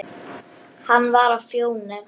Hann var á Fjóni.